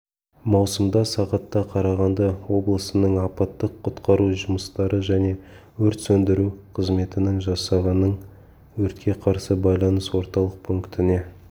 маусымда сағатта қарағанды облысының апаттық-құтқару жұмыстары және өрт сөндіру қызметінің жасағының өртке қарсы байланыс орталық пунктіне